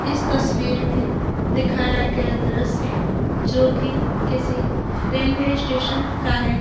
इस तस्वीर में दिखाया गया दृश्य जो की किसी रेलवे स्टेशन का है।